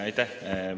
Aitäh!